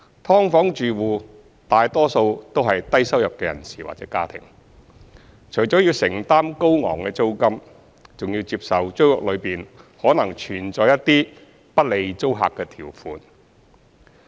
"劏房"住戶大多數為低收入人士或家庭，除了需要承擔高昂租金，還要接受租約內可能存在一些不利租客的條款。